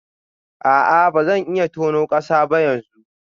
A'a ba zan iya tona kasa ba yanzu